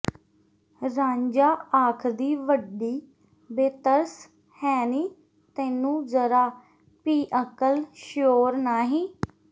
ਰਾਂਝਾ ਆਖਦੀ ਵੱਡੀ ਬੇਤਰਸ ਹੈਂ ਨੀ ਤੈਨੂੰ ਜ਼ਰਾ ਭੀ ਅਕਲ ਸ਼ਊਰ ਨਾਹੀਂ